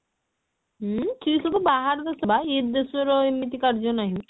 ଉଁ ସିଏ ସବୁ ବାହାର ଦେଶ ବା ଇଏ ଦେଶ ର ଏମିତି କାର୍ଯ୍ୟ ନାହିଁ